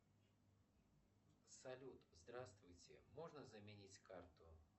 салют здравствуйте можно заменить карту